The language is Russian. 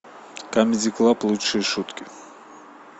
камеди клаб лучшие шутки